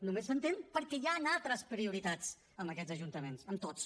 només s’entén perquè hi han altres prioritats en aquests ajuntaments en tots